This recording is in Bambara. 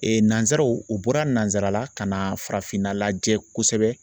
nanzaraw u bɔra nanzara la ka na farafinna lajɛ kosɛbɛ